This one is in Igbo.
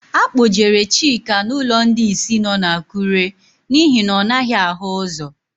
A kpọjere Chika n'ụlọ ndị ìsì nọ n'Akụre n'ihi na ọ naghị ahụ ụ́zọ̀.